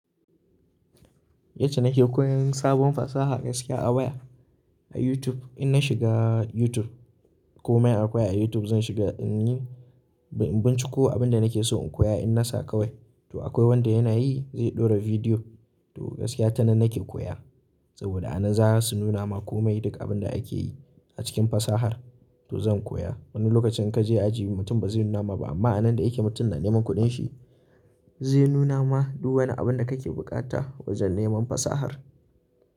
Yace nake koyan sabon fasaha gaskiya a waya, a YouTube. In na shiga YouTube komai akwai a YouTube zan shiga in yi, in binciko abin da nake so in koya in na sa kawai. To akwai wanda yana yi zai ɗora bidiyo. To gaskiya tanan nake koya saboda ana za su nuna ma kome duk abin da ake yi a cikin fasahar to zan koya. Wani lokacin in kaje aji mutum ba zai nuna ma ba amma a nan da yake mutum na neman kuɗin shi zai nuna ma duk wani abin da kake buƙata wajen neman fasahar.